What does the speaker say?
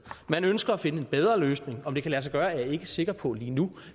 man ønsker at finde en bedre løsning om det kan lade sig gøre er jeg ikke sikker på lige nu